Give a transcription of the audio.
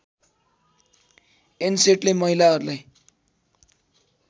एन्सेटले महिलाहरूलाई